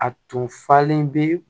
A tun falen bɛ